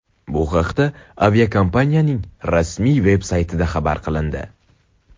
Bu haqda aviakompaniyaning rasmiy saytida xabar qilindi .